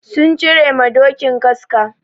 Sun cire ma dokin kaska.